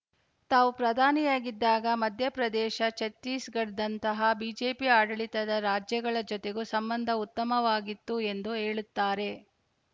ತಾವು ಪ್ರಧಾನಿಯಾಗಿದ್ದಾಗ ಮಧ್ಯಪ್ರದೇಶ ಛತ್ತೀಸ್‌ಗಢದಂತಹ ಬಿಜೆಪಿ ಆಡಳಿತದ ರಾಜ್ಯಗಳ ಜತೆಗೂ ಸಂಬಂಧ ಉತ್ತಮವಾಗಿತ್ತು ಎಂದು ಹೇಳುತ್ತಾರೆ